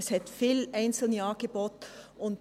Es hat viele einzelne Angebote.